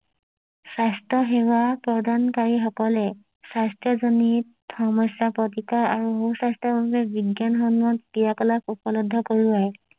স্বাস্থ্য সেৱা প্ৰদানকাৰি সকলে স্বাস্থ্য জনিত সমস্যা প্ৰতিকাৰ আৰু মূল স্বাস্থ্য বাবে বিজ্ঞান সন্মত ক্ৰিয়া কলাপ উপলব্ধ কৰোৱাই